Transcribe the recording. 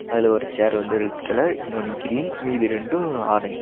அதுல ஒரு சேர் வந்து ரெட் கலர் இன்னொன்னு கிரீன் மீதி ரெண்டு ஆரஞ் --